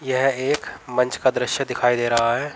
यह एक मंच का दृश्य दिखाई दे रहा है।